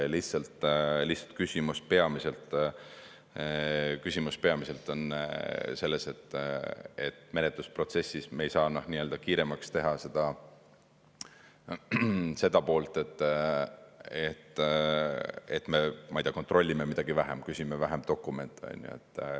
Lihtsalt küsimus on peamiselt selles, et menetlusprotsessis me ei saa kiiremaks teha seda poolt, et me, ma ei tea, kontrollime midagi vähem, küsime vähem dokumente, on ju.